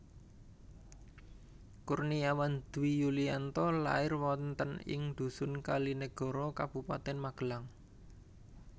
Kurniawan Dwi Yulianto lair wonten ing dhusun Kalinegoro Kabupatèn Magelang